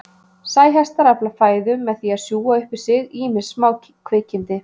Sæhestar afla fæðu með því að sjúga upp í sig ýmis smákvikindi.